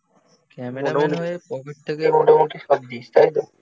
Cameraman হয়ে pocket থেকে মোটামুটি সব দিস তাই তো?